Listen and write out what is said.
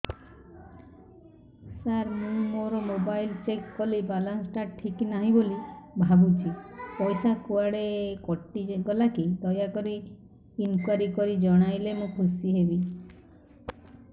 ସାର ମୁଁ ମୋର mobile check କଲି ବାଲାନ୍ସ ଟା ଠିକ ନାହିଁ ବୋଲି ଭାବୁଛି ପଇସା କୁଆଡେ କଟି ଗଲା କି ଦୟାକରି ଇନକ୍ୱାରି କରି ଜଣାଇଲେ ମୁଁ ଖୁସି ହେବି